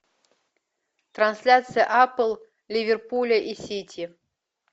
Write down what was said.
трансляция апл ливерпуля и сити